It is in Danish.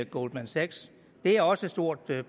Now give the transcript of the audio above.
goldman sachs det er også et stort